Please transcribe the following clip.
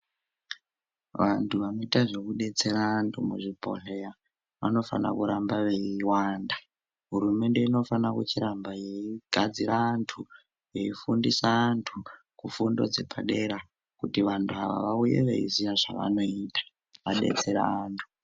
Vanthu vanoita zvekudetsera anthu muzvibhodhleya vanofana kurambe veiwanda hurumende inofana kuchiramba yeigadzira anthu yeifundisa anthu kufundo dzepadera kuti vanthu ava vauye veiziya zvavanoita vadetsera anthu.